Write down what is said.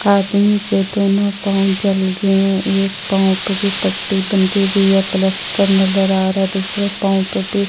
आदमी के दोनों पाओ जल गए है एक पाओ पे पट्टी बंधी हुई है प्लैस्टर नजर आ रहा है दूसरे पाओ पे भी --